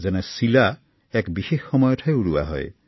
যেনে চিলা এক বিশেষ সময়তহে উৰুৱা হয়